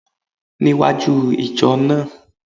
Níwájú ìjọ náà